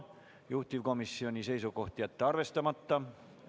Juhtivkomisjoni seisukoht on jätta see arvestamata.